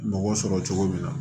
Mɔgɔ sɔrɔ cogo min na